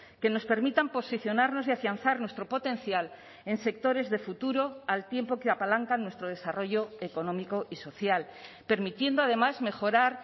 que nos permitan posicionarnos y afianzar nuestro potencial en sectores de futuro al tiempo que apalancan nuestro desarrollo económico y social permitiendo además mejorar